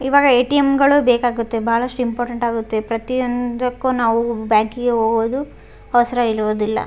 ಇವಾಗ ಏ.ಟಿ.ಎಮ್. ಬೇಕಾಗುತ್ತೆ ಬಹಳಷ್ಟು ಇಂಪಾರ್ಟೆಂಟ್ ಆಗುತ್ತೆ ಪ್ರತಿಯೊಂದಕ್ಕೂ ನಾವು ಬ್ಯಾಂಕಿಗೆ ಹೋಗೋದು ಅವಸರ ಇರುದಿಲ್ಲ.